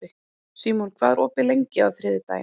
Símon, hvað er opið lengi á þriðjudaginn?